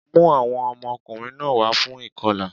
Mú àwọn ọmọkùnrin náà wá fún ìkọlà